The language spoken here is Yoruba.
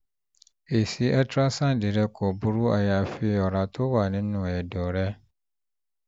èsì ultrasound rẹ kò burú àyàfi fún ọ̀rá tó wà nínú ẹ̀dọ̀ rẹ